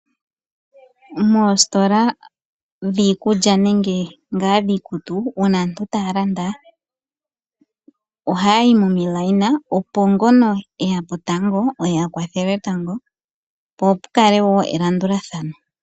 Moositola dhiikulya nenge ngaa dhiikutu, uuna aantu taa landa, ohaya yi momikweyo, opo ngono e ya po tango oye a kwathelwe tango, po pu kale wo elandulathano.